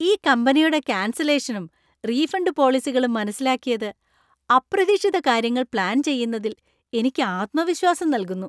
ഈ കമ്പനിയുടെ കാന്‍സലേഷനും, റീഫണ്ട് പോളിസികളും മനസിലാക്കിയത് അപ്രതീക്ഷിത കാര്യങ്ങൾ പ്ലാന്‍ ചെയ്യുന്നതിൽ എനിക്ക് ആത്മവിശ്വാസം നൽകുന്നു.